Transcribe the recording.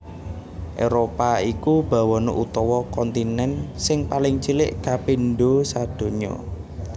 Éropah iku bawana utawa kontinèn sing paling cilik kapindho sadonya